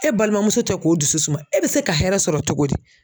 E balimamuso tɛ k'o dusu suma e bɛ se ka hɛrɛ sɔrɔ cogo di?